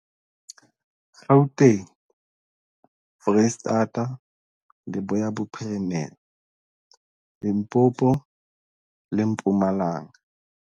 Gauteng, Freistata, Leboya Bophirimela, Limpopo le Mpumalanga.